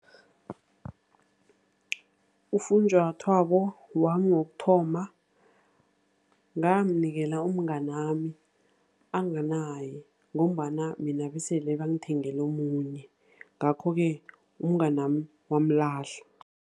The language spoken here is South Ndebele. Ufunjathwako wami wokuthoma ngawunikela umnganami anganaye, ngombana mina besele bangithengele omunye. Ngakho-ke umnganami wamlahla.